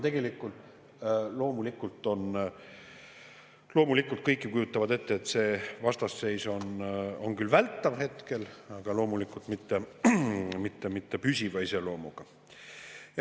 Kõik ju kujutavad ette, et see vastasseis on küll hetkel vältav, aga loomulikult mitte püsiva iseloomuga.